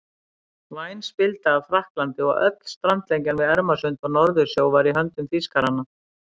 Væn spilda af Frakklandi og öll strandlengjan við Ermarsund og Norðursjó var í höndum Þýskaranna.